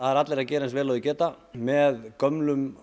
eru allir að gera eins vel og þeir geta með gömlum